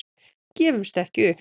Gefumst ekki upp.